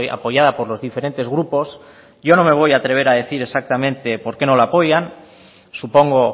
apoyada por los diferentes grupos yo no me voy a atrever a decir exactamente por qué no la apoyan supongo